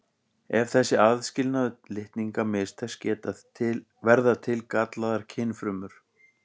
Ef þessi aðskilnaður litninga mistekst verða til gallaðar kynfrumur.